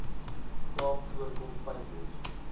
kaap voorkom fynbos